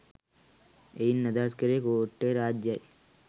එයින් අදහස් කරේ කෝට්ටේ රාජ්‍යය